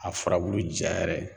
A furabulu ja yɛrɛ